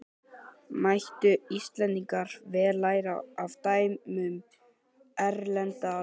Mættu Íslendingar vel læra af dæmum erlendra þjóða.